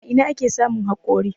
A ina ake samun hakori.?